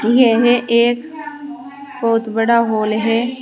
यह एक बहुत बड़ा हॉल है।